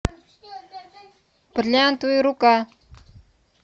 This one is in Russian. бриллиантовая рука